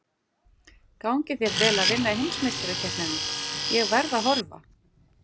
Gangi þér vel að vinna heimsmeistarakeppnina, ég verð að horfa.